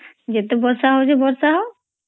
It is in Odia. ଯେତେ ବର୍ଷା ହଉଚି ବର୍ଷା ହୋଉ